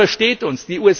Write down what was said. Niemand versteht uns.